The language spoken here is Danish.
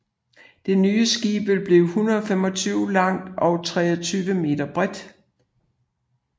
Det nye skib vil blive 125 meter langt og 23 meter bredt